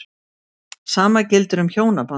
Sama gildir um hjónabandið.